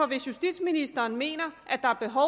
hvis justitsministeren mener at der er behov